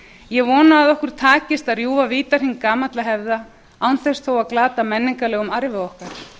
ég vona að okkur takist að rjúfa vítahring gamalla hefða án þess þó að glata menningarlegum arfi okkar